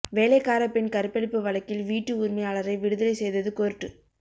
வேலைக்காரப் பெண் கற்பழிப்பு வழக்கில் வீட்டு உரிமையாளரை விடுதலை செய்தது கோர்ட்டு